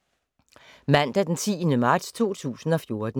Mandag d. 10. marts 2014